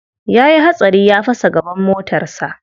Ya yi hatsari ya fasa gaban motarsa.